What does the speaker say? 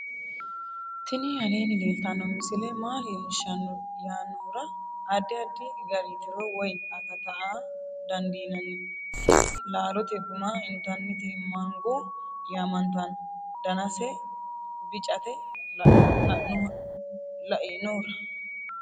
tini aleenni leeltanno misile maa leellishshanno yaannohura addi addi gari tiro woy akata aa dandiinanni tini laalote guma intannite mango yaamantanno danase bicate leinohura